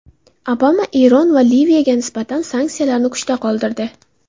Obama Eron va Liviyaga nisbatan sanksiyalarni kuchda qoldirdi.